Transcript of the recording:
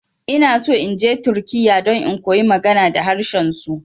Inaso inje turkiya don in koyi magana da harshen su.